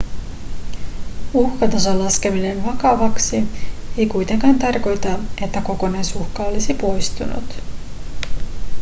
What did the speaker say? uhkatason laskeminen vakavaksi ei kuitenkaan tarkoita että kokonaisuhka olisi poistunut